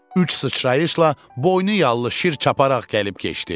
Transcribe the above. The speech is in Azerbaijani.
Üç sıçrayışla boynu yallı şir çaparaq gəlib keçdi.